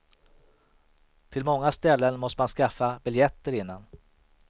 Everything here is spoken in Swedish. Till många ställen måste man skaffa biljetter innan.